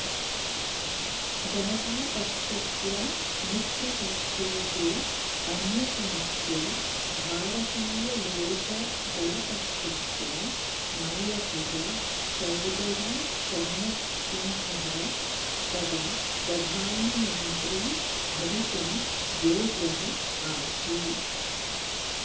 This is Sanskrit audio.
जनतापक्षस्य मित्रपक्षेषु अन्यतमस्य भारतीयलोकदलपक्षस्य नायकः चौधरी चरणसिंहः तदा प्रधानमन्त्री भवितुम् योग्यः आसीत्